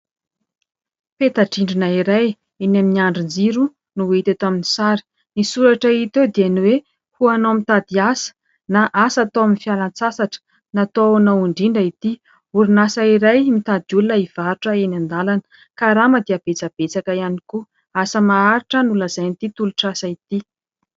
Peta-drindrina iray eny amin'ny andrin-jiro no hita eto amin'ny sary. Ny soratra hita eo dia ny hoe : ho anao mitady asa na asa atao amin'ny fialan-tsasatra, natao ho anao indrindra itỳ. Orinasa iray mitady olona hivarotra eny an-dalana. Ny karama dia betsabetsaka ihany koa. Asa maharitra no lazain'itỳ tolotr'asa itỳ.